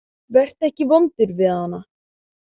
Vertu ekki vondur við hana.